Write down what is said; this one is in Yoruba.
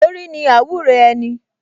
Orí ni àwúre ẹni